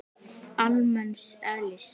almenns eðlis.